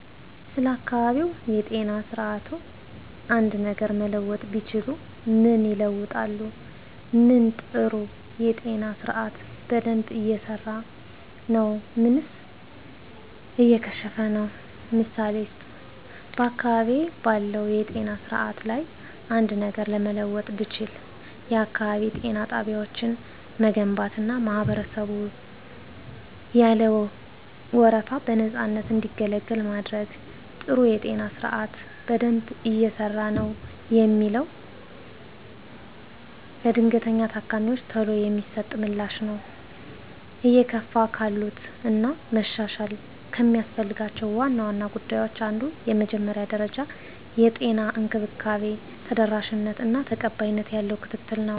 ስለ አካባቢያዊ የጤና ስርዓትዎ አንድ ነገር መለወጥ ቢችሉ ምን ይለውጣሉ? ምን ጥሩ የጤና ስርአት በደንብ እየሰራ ነው ምንስ እየከሸፈ ነው? ምሳሌ ይስጡ። *በአካባቢዬ ባለው የጤና ስርዓት ላይ አንድ ነገር ለመለወጥ ብችል፣ *የአካባቢ ጤና ጣቢያዎችን መገንባትና ማህበረሰቡን ያለ ወረፋ በነፃነት እንዲገለገሉ ማድረግ። *ጥሩ የጤና ስርዓት በደንብ እየሰራ ነው የምለው፦ ለድንገተኛ ታካሚወች ቶሎ የሚሰጠው ምላሽ ነው። *እየከሸፉ ካሉት እና መሻሻል ከሚያስፈልጋቸው ዋና ዋና ጉዳዮች አንዱ የመጀመሪያ ደረጃ የጤና እንክብካቤ ተደራሽነት እና ቀጣይነት ያለው ክትትል ነው።